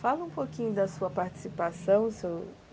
Fala um pouquinho da sua participação, Sr.